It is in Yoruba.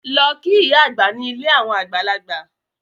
Lọ kí ìyá àgbà ní ilé àwọn àgbàlagbà!